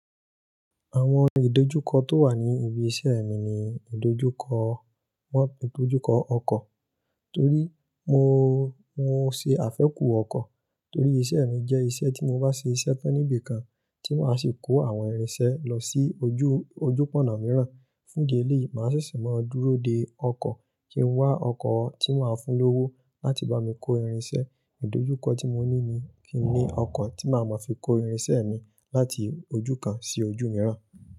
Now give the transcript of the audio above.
Àwọn ìdojúkọ tó wà ní ibi iṣẹ́ mi ni ìdojúkọ, ìdojúkọ ọkọ́ torí mo, mo ṣe àfẹ́ku ọkọ́ torí iṣẹ́ mi jẹ́ iṣẹ́ tí mo bá ṣe iṣẹ́ tán níbi kan tí màá ṣe kó àwọn irinṣẹ́ lọ sí ojú, ojú pọ̀nà mìíràn. Fún ìdí eleyi, màá ṣeṣe máa dúró dé ọkọ́ kí n wá ọkọ́ tí màá fun lówó láti bá mi kó irin iṣẹ́. Ìdojúkọ tí mo ní ni kí n ní ọkọ́ tí màá máa fi kó irin iṣẹ́ mi láti ojú kan sí ojú mìíràn.